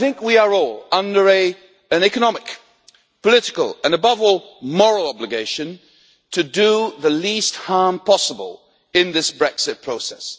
I think we are all under an economic, political and above all moral obligation to do the least harm possible in this Brexit process.